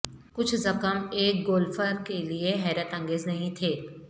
کچھ زخم ایک گولففر کے لئے حیرت انگیز نہیں تھے